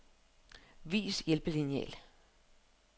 Vis hjælpelineal.